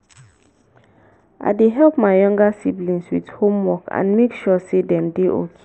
i dey help my younger siblings with homework and make sure sey dem dey okay.